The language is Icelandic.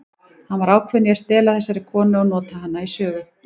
Hann var ákveðinn í að stela þessari konu og nota hana í sögu.